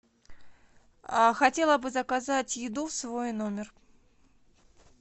хотела бы заказать еду в свой номер